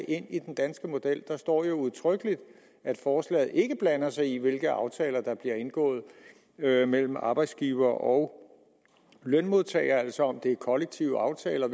ind i den danske model der står jo udtrykkeligt at forslaget ikke blander sig i hvilke aftaler der bliver indgået mellem arbejdsgivere og lønmodtagere altså om det er kollektive aftaler